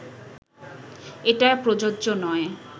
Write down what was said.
এটা প্রযোজ্য নয়